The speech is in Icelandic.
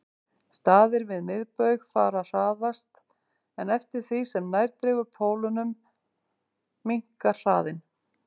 Staðir við miðbaug fara hraðast en eftir því sem nær dregur pólunum minnkar hraðinn.